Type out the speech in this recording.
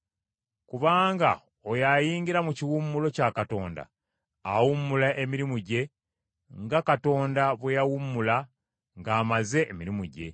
Kubanga oyo ayingira mu kiwummulo kya Katonda, awummula emirimu gye nga Katonda bwe yawummula ng’amaze emirimu gye.